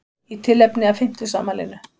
Í tilefni af fimmtugsafmælinu